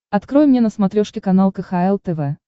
открой мне на смотрешке канал кхл тв